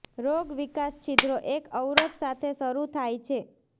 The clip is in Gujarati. રોગ વિકાસ છિદ્રો એક અવરોધ સાથે શરૂ થાય છે